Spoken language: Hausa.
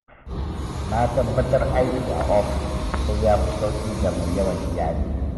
Na tabbatar aiki a ofis sai ya fi sauƙi ga mai yawan iyali.